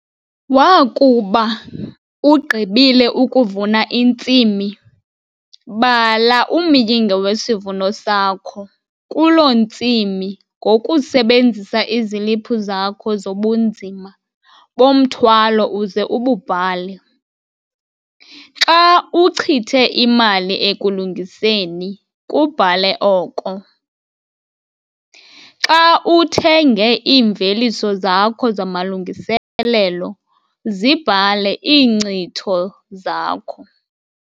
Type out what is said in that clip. Wakuba ugqibile ukuvuna intsimi, bala umyinge wesivuno sakho kuloo ntsimi ngokusebenzisa iziliphu zakho zobunzima bomthwalo uze ububhale. Xa uchithe imali ekulungiseni kubhale oko. Xa uthenge iimveliso zakho zamalungiselelo zibhale iinkcitho zakho.